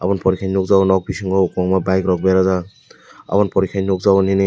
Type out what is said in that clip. boni poreh khe nukjakgo nok bisingo kwbanga bike rok berajak aboni poreh khe nukjakgo nini.